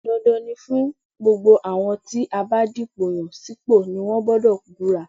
Dandan ni fún gbogbo àwọn tí a bá dìpò yàn sípò ni wọ́n gbọdọ̀ búra